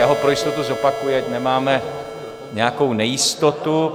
Já ho pro jistotu zopakuji, ať nemáme nějakou nejistotu.